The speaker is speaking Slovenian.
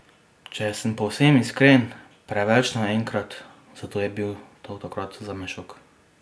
Če sem povsem iskren, preveč naenkrat, zato je bil to takrat zame šok.